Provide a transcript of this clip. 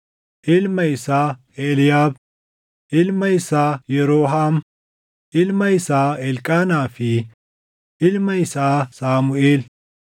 ilma isaa Eliiyaab, ilma isaa Yeroohaam, ilma isaa Elqaanaa fi ilma isaa Saamuʼeel.